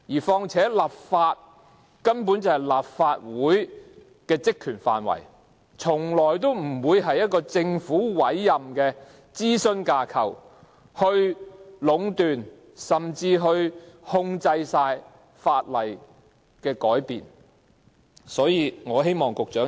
況且，立法根本是立法會的職權範圍，從來不應由政府委任的諮詢架構壟斷，甚至完全控制修改法例的事宜。